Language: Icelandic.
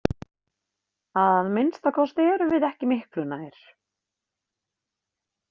Að minnsta kosti erum við ekki miklu nær.